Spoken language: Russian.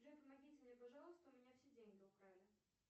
джой помогите мне пожалуйста у меня все деньги украли